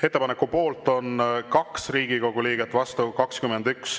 Ettepaneku poolt on 2 Riigikogu liiget, vastu 21.